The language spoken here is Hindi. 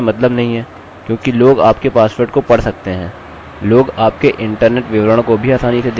अतः आप इस पोस्ट को देख सकते हैं इनका उपयोग फंक्शन्स के लिए किया जाता है साथ ही मात्रा जो कि इसके माध्यम से भेजी जा सकती है